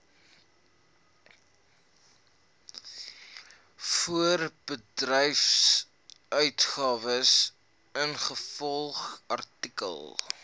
voorbedryfsuitgawes ingevolge artikel